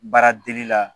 Baara degi la